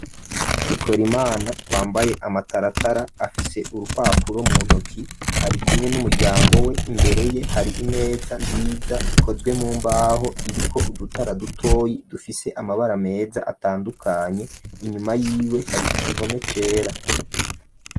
Pikor imana wambaye amataratara afise urupapuro mu ntoki ari kumwe n'umuryango we imbereye hari imeza nziza ikozwe mu mbaho iri ko udutara dutoyi dufise amabara meza atandukanye inyuma yiwe hari igihome cera.